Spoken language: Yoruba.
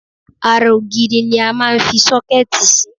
Ara ògiri ni a máa ń fi sọ́kẹ́ẹ̀tì sí.